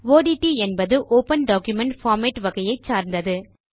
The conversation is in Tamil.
ஒட்ட் என்பது ஒப்பன் டாக்குமென்ட் பார்மேட் வகையை சார்ந்தது